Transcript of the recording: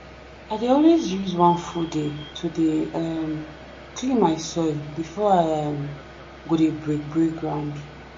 i dey always use one full day to dey um clean my soil before i um go dey break break ground.